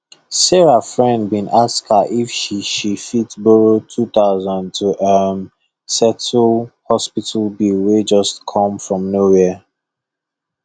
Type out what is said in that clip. sarah friend been ask her if she she fit borrow 2000 to um settle hospital bill wey just come from nowhere